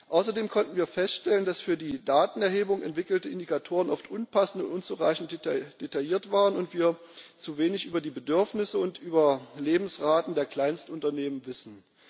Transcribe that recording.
Außerdem konnten wir feststellen, dass für die Datenerhebung entwickelte Indikatoren oft unpassend und unzureichend detailliert waren und wir zu wenig über die Bedürfnisse und Überlebensraten der Kleinstunternehmen wissen.